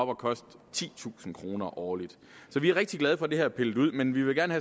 koste titusind kroner årligt så vi er rigtig glade for at det her er pillet ud men vi vil gerne